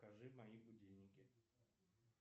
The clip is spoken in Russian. покажи мои будильники